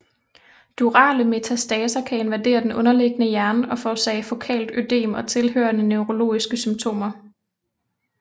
Durale metastaser kan invadere den underliggende hjerne og forårsage fokalt ødem og tilhørende neurologiske symptomer